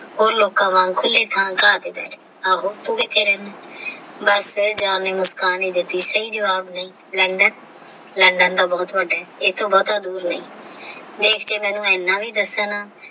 ਉਹ ਲੋਕਾਂ ਵਾਂਗ ਖੁੱਲ੍ਹੇ ਥਾਂ ਗਾਹ ਤੇ ਰਹੇ ਆਹੋ ਤੋਂ ਕਿੱਥੇ ਰਹਿੰਦੀ ਬਸ John ਨੇ ਮੁਸਕਾਨ ਦਿੱਤੀ ਸਹੀ ਜਵਾਬ ਨਹੀਂ LondonLondon ਤਾ ਬਹੁਤ ਵੱਡਾ ਹੈ ਇੱਥੋਂ ਬਹੁਤਾ ਦੂਰ ਨਹੀਂ ਦੇਖ ਕੇ ਮੈਨੂੰ ਏਨਾ ਵੀ ਦੱਸਣਾ।